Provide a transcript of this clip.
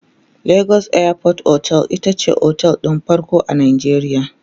legas airport otel itace otel ɗin farko a Najeriya